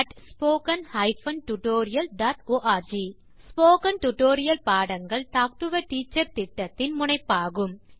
contact spoken hyphen tutorial dot org spoken tutorial பாடங்கள் talk to a teacher திட்டத்தின் முனைப்பாகும்